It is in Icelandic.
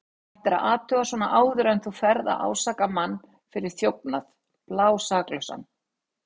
Þú ættir að athuga svona áður en þú ferð að ásaka mann fyrir þjófnað, blásaklausan.